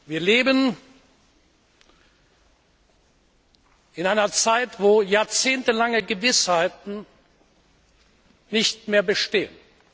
Wir leben in einer Zeit, wo jahrzehntelange Gewissheiten nicht mehr bestehen.